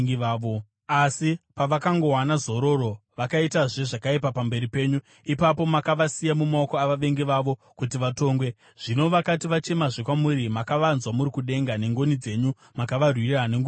“Asi pavakangowana zororo, vakaitazve zvakaipa pamberi penyu. Ipapo makavasiya mumaoko avavengi vavo kuti vavatonge. Zvino vakati vachemazve kwamuri, makavanzwa muri kudenga, nengoni dzenyu mukavarwira nguva nenguva.